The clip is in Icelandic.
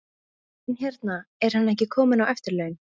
En hérna, er hann ekki kominn á eftirlaun?